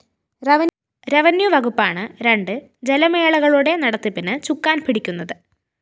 revenue വകുപ്പാണ് രണ്ടു ജലമേളകളുടെ നടത്തിപ്പിന് ചുക്കാൻ പിടിക്കുന്നത്